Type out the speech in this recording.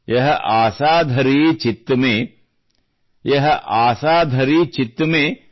ಯಹ ಆಸಾ ಧರಿ ಚಿತ್ತ ಮೆ ಯಹ ಆಸಾ ಧರಿ ಚಿತ್ತ ಮೆ